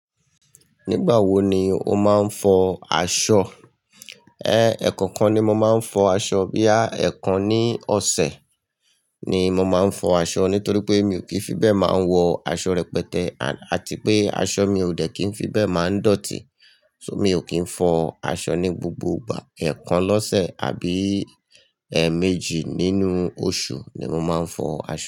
Nígbà wo ni o máa ń fọ aṣọ? E, ẹ̀ẹ̀kan kan ni mo máa ń fọ aṣọ. Boya ẹ̀ẹ̀kan ní ọ̀sẹ̀ ni mo máa ń fọ aṣọ nítorí pé mi ò kí ń fi bẹ́ẹ̀ máa ń wọ aṣọ rẹpẹtẹ àti pé aṣọ mi ò dẹ̀ kí ń fi bẹ́ẹ̀ máa ń dọ̀tí. So mi ò kí ń fọ aṣọ ní gbogbo ìgbà. Ẹ̀ẹ̀kan lọ́sẹ̀ àbí ẹẹ́ẹ̀méjì nínú oṣù ni mo máa ń fọ aṣọ.